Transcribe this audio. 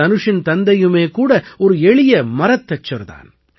தனுஷின் தந்தையுமே கூட ஒரு எளிய மரத்தச்சர் தான்